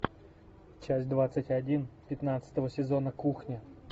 часть двадцать один пятнадцатого сезона кухня